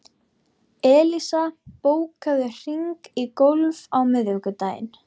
Elías, bókaðu hring í golf á miðvikudaginn.